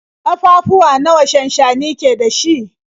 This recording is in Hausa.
Ƙafafuwa nawa shansshani ke da shi?